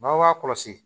N'aw b'a kɔlɔsi